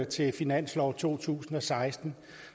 til finanslov to tusind og seksten